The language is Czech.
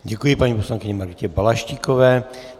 Děkuji paní poslankyni Margitě Balaštíkové.